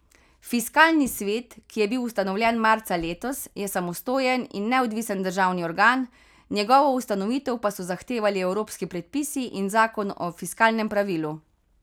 Fiskalni svet, ki je bil ustanovljen marca letos, je samostojen in neodvisen državni organ, njegovo ustanovitev pa so zahtevali evropski predpisi in zakon o fiskalnem pravilu.